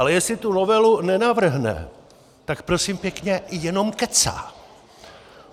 Ale jestli tu novelu nenavrhne, tak prosím pěkně jenom kecá.